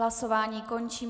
Hlasování končím.